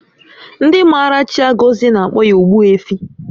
Ndị maara Chiagozie na-akpọ ya Ogbuefi